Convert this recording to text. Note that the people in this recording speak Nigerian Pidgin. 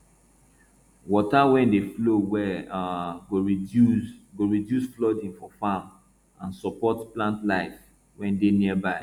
water wey dey flow well um go reduce go reduce flooding for farms and support plant life wey dey nearby